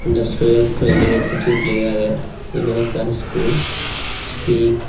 industrial training institute lega aage iben ekkan school ci.